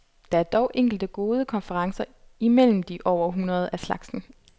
Der er dog enkelte gode konferencer imellem de over hundrede af slagsen.